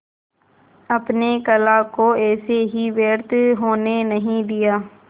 अपने कला को ऐसे ही व्यर्थ होने नहीं दिया